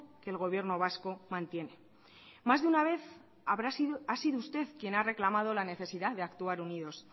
que el gobierno vasco mantiene más de una vez ha sido usted quien ha reclamado la necesidad de actuar unidos